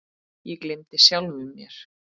Ég gleymdi sjálfum mér.